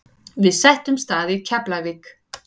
Við settumst að í Keflavík.